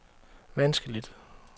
vanskeligt